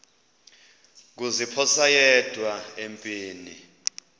kuziphosa yedwa empini